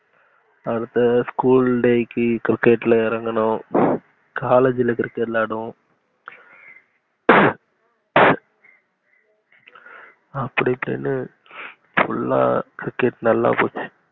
அடுத்த school day க்கு cricket ல இறங்குனோம். college ல cricket விளையாடுவோம். அப்டி இப்புடின cricket நல்லா விளையாண்டோம்.